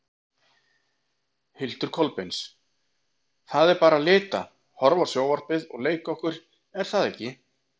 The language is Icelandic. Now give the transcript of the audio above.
Hildur Kolbeins: Það er bara lita, horfa á sjónvarpið og leika okkur er það ekki?